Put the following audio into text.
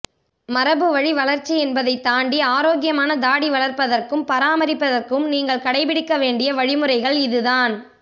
மரபு வழி வளர்ச்சி என்பதை தாண்டி ஆரோக்கியமான தாடி வளர்ப்பதற்கும் பராமரிப்பதற்கும் நீங்கள் கடைபிடிக்க வேண்டிய வழிமுறைகள் இதுதான்